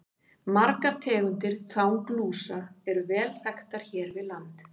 Margar tegundir þanglúsa eru vel þekktar hér við land.